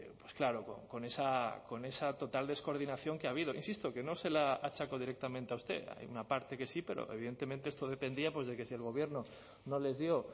pues claro con esa total descoordinación que ha habido insisto que no se la achaco directamente a usted hay una parte que sí pero evidentemente esto dependía de que si el gobierno no les dio